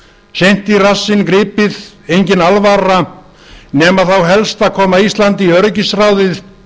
seint í rassinn gripið engin alvara nema þá helst að koma íslandi í öryggisráðið